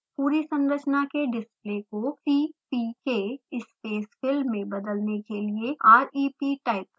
पूरी संरचना के डिस्प्ले को cpk spacefill में बदलने के लिए rep टाइप करें